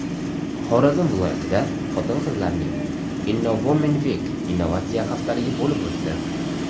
Xorazm viloyatida xotin-qizlarning Innowomenweek innovatsiya haftaligi bo‘lib o‘tdi.